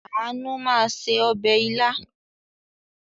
Àánú máa se ọbẹ̀ ilá.